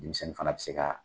Denmisɛnnin fana bi se ka